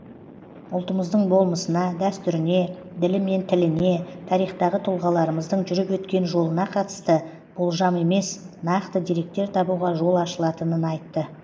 ұлтымыздың болмысына дәстүріне ділі мен тіліне тарихтағы тұлғаларымыздың жүріп өткен жолына қатысты болжам емес нақты деректер табуға жол ашылатынын айтты